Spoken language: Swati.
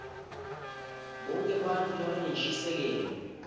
bonkhe bantfu labanenshisekelo